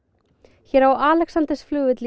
hér á Alexandersflugvelli í